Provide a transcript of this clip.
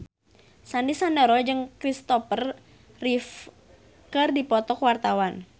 Sandy Sandoro jeung Kristopher Reeve keur dipoto ku wartawan